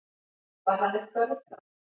Var hann eitthvað ruglaður?